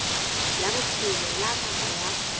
la bophelo la ngaka ya